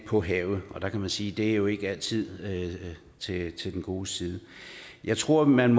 på havet og der kan vi sige at det jo ikke altid er til den gode side jeg tror man